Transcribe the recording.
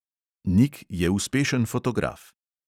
Nik je uspešen fotograf.